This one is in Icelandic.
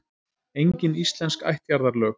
Engin íslensk ættjarðarlög.